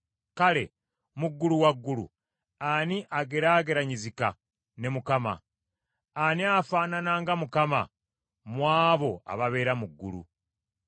Kale, mu ggulu waggulu, ani ageraageranyizika ne Mukama ? Ani afaanana nga Mukama , mu abo ababeera mu ggulu?